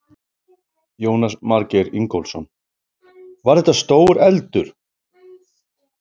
Jónas Margeir Ingólfsson: Var þetta stór eldur?